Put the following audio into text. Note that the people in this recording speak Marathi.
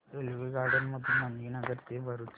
रेल्वेगाड्यां मधून मणीनगर ते भरुच